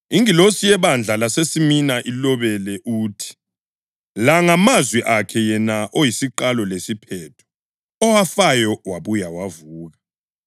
“Ingilosi yebandla laseSimina ilobele uthi: La ngamazwi akhe yena oyisiQalo lesiPhetho, owafayo wabuya wavuka.